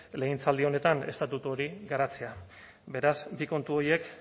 legegintzaldi honetan estatutu hori garatzea beraz bi kontu horiek